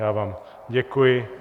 Já vám děkuji.